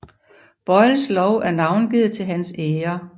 Boyles lov er navngivet til hans ære